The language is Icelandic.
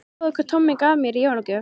Sjáðu hvað Tommi gaf mér í jólagjöf